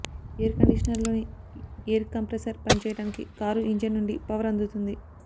air కండీషనర్లోని air compressor పనిచేయడానికి car engine నుండి పవర్ అందుతుంది